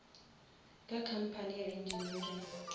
ka company ya engineering